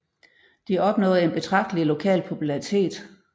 De opnåede en betragtelig lokal popularitet